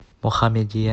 мохаммедия